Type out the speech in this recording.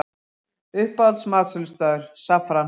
Uppáhalds matsölustaður: Saffran